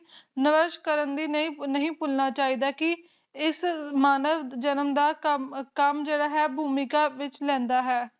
ਨਾਮਸ਼ ਕਰਮ ਨੂ ਨਹੀ ਭੁੱਲਣਾ ਚਾਹੀਦਾ ਕੀ ਇਸ ਮਾਨਵ ਜਨਮ ਦਾ ਕਮ ਭੂਮਿਕਾ ਵਿਚ ਲੈਂਦਾ ਹੈ